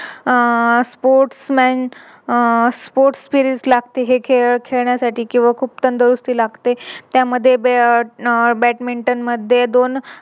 आह Sports man अह Sports field लागते. हे खेळ खेळण्यासाठी किव्हा खूप तंदुरुती लागते त्यामध्ये Badminton मध्ये दोन